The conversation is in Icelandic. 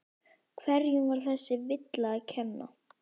Hverjum var þessi villa að kenna?